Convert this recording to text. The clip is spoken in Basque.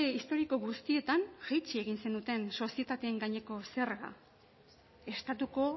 historiko guztietan jaitsi egin zenuten sozietateen gaineko zerga estatuko